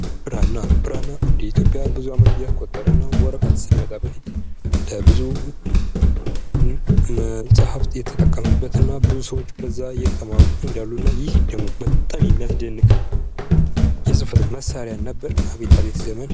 ብራና። ብራና እንደኢትዮጵያ ብዙ ዓመት ያስቆጠረ ነው። ወረቀት ሳይመጣ በፊት ለብዙ መጽሐፍት የተጠቀምንበት እና ብዙ ሰዎች በዛ የተማሩ እንዳሉ እና ይህ ደግሞ በጣም የሚያስደንቅ የጽህፈት መሳሪያ ነበር ።አቤት አቤት ዘመን።